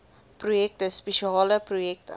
projekte spesiale projekte